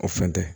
O fɛn tɛ